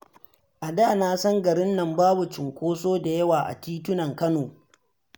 A da na san garinnan babu cunkoso da yawa a titunan Kano.